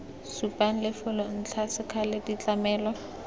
supang lefelo ntlha sekgala ditlamelo